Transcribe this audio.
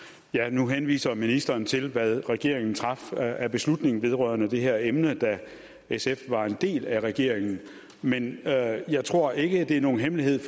nu henviser ministeren til hvad regeringen traf af beslutning vedrørende det her emne da sf var en del af regeringen men jeg tror ikke at det er nogen hemmelighed